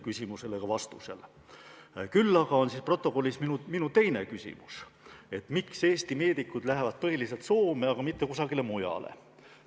Küll aga on protokollis minu teine küsimus: miks Eesti meedikud lähevad põhiliselt Soome, aga mitte kusagile mujale.